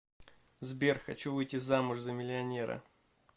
сбер хочу выйти замуж за миллионера